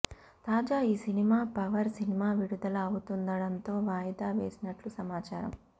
తాజా ఈ cinema power cinema విడుదల అవుతుండడంతో వాయిదా వేసినట్లు సమాచారం